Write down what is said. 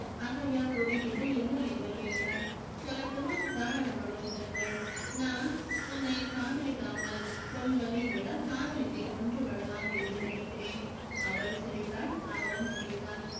அகல்யா குறுக்கிட்டு என்ன என்று கேட்டாள் சொல்லட்டுமா தாராளமாகச் சொல்லுங்கள் நான் உன்னை காதலிக்காமல் கொல்வதை விட காதலித்தே கொன்று விடலாம் என்று நினைக்கிறேன் அவள் சிரித்தாள் அவனும் சிரித்தான்